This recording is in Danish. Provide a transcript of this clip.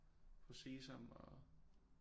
På Sesam og